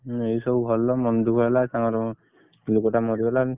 ଏଇ ସବୁ ଭଲ ମନ ଦୁଖଃ କୁ ହେଲା ତାଙ୍କର ଲୋକ ଟା ମରିଗଲା।